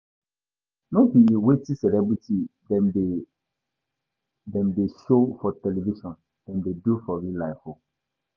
No be wetin celebity dem dey dem dey show for television dem dey do for real life o.